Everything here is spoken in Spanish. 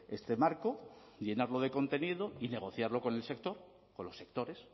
este marco llenarlo de contenido y negociarlo con el sector con los sectores